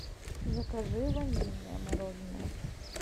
закажи ванильное мороженое